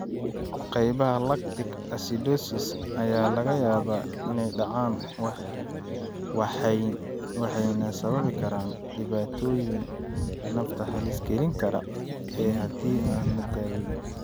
Qaybaha lactic acidosis ayaa laga yaabaa inay dhacaan waxayna sababi karaan dhibaatooyin nafta halis gelin kara haddii aan la daweyn.